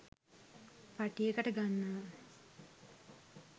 පටියකට ගන්නවා